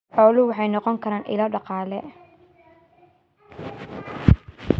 Xooluhu waxay noqon karaan ilo dhaqaale.